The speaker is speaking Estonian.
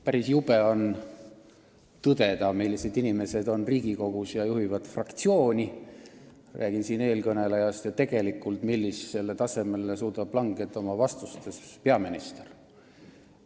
Päris jube on tõdeda, millised inimesed on Riigikogus ja juhivad fraktsiooni – räägin siin eelkõnelejast – ning millisele tasemele suudab langeda oma vastustes peaminister.